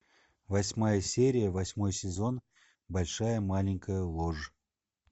восьмая серия восьмой сезон большая маленькая ложь